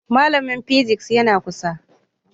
Malamin physics yana kusa